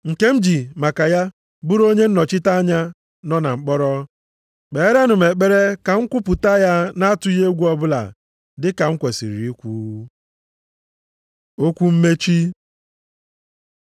nke m ji maka ya bụrụ onye nnọchite anya nọ na mkpọrọ. Kperenụ m ekpere ka m kwupụta ya nʼatụghị egwu ọbụla dị ka m kwesiri ikwu. Okwu mmechi